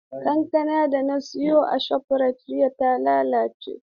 Kankanan da na saya a Shofrayit jiya ta lalace.